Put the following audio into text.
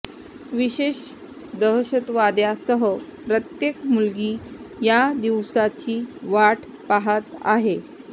विशेष दहशतवाद्यासह प्रत्येक मुलगी या दिवसाची वाट पहात आहे